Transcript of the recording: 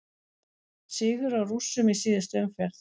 Sigur á Rússum í síðustu umferð